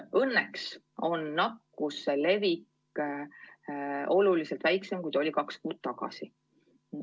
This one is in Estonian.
Õnneks on nakkuse levik oluliselt väiksem kui kaks kuud tagasi.